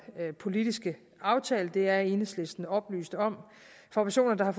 politiske aftale og det er enhedslisten oplyst om for personer der har